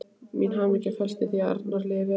Mín hamingja felst í því að Arnari líði vel.